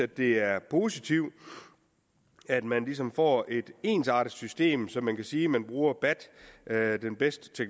det er positivt at man ligesom får et ensartet system så man kan sige at man bruger bat bat den bedste